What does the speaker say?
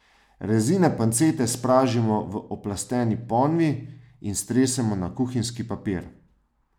Rezine pancete spražimo v oplasteni ponvi in stresemo na kuhinjski papir.